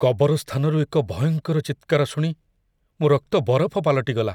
କବରସ୍ଥାନରୁ ଏକ ଭୟଙ୍କର ଚିତ୍କାର ଶୁଣି ମୋ ରକ୍ତ ବରଫ ପାଲଟିଗଲା।